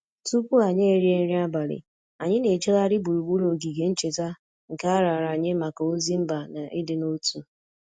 Tupu anyị erie nri abalị, anyị na-ejegharị gburugburu ogige ncheta nke a raara nye maka ozi mba na ịdị n'otu